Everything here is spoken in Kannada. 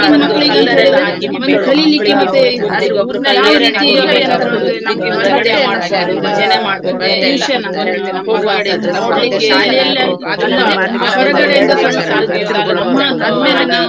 ಆ ಒಂದು ನಮ್ಗೆ ಬೇಕೋ ಮಕ್ಳಿಗೆ ಹ್ಮ್ ಒಂದು ಪ್ರೇರಣೆ ಕೊಡುವಂತಹ ಒಂದು pic~ ಚಲನಚಿತ್ರ ಆಗಿರ್ಬೋದು, ಒಂದು ಎಲ್ಲಾ ಹ್ಮ್ ಒಂದ್ ಕ~ ಕರ್ಕೊಂಡ್ ಹೋದ್ದು ಎಲ್ಲಾಸಾ ನಂಗೆ ನೆನಪ್. ಆದ್ರೆ ನಮ್ಗೆ ಒಂದ್ ಆರನೇ ತರಗತಿಲ್ಲಿರುವಾಗ ನಮ್ಗೆ ಒಂದು ಆ.